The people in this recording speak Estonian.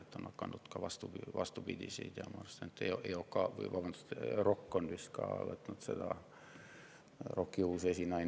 ROK‑i uus esinaine on võtnud ka naiste sporti kaitsta, kui ma ei eksi.